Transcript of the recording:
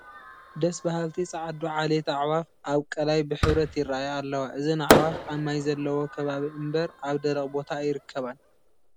ደስ በሃልቲ ፃዕዱ ዓሌቲ ኣዕዋፍ ኣብ ቀላይ ብሕብረት ይረአያ ኣለዋ፡፡ እዘን ኣዕዋፍ ኣብ ማይ ዘለዎ ከባቢ እምበር ኣብ ደረቕ ቦታ ኣይርከባን፡፡